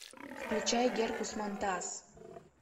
включай геркус монтас